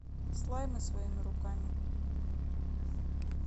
слаймы своими руками